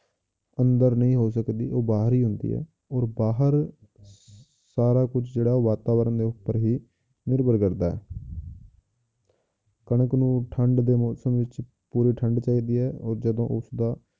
ਅੰਦਰ ਨਹੀਂ ਹੋ ਸਕਦੀ ਉਹ ਬਾਹਰ ਹੀ ਹੁੰਦੀ ਹੈ ਔਰ ਬਾਹਰ ਸਾਰਾ ਕੁਛ ਜਿਹੜਾ ਵਾਤਾਵਰਨ ਦੇ ਉੱਪਰ ਹੀ ਨਿਰਭਰ ਕਰਦਾ ਹੈ ਕਣਕ ਨੂੰ ਠੰਢ ਦੇ ਮੌਸਮ ਵਿੱਚ ਪੂਰੀ ਠੰਢ ਚਾਹੀਦੀ ਹੈ ਔਰ ਜਦੋਂ ਉਸਦਾ,